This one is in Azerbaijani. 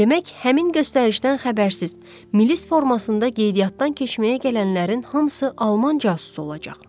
Demək, həmin göstərişdən xəbərsiz milis formasında qeydiyyatdan keçməyə gələnlərin hamısı alman casusu olacaq.